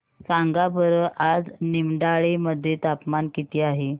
सांगा बरं आज निमडाळे मध्ये तापमान किती आहे